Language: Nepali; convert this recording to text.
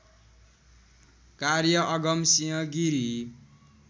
कार्य अगमसिंह गिरी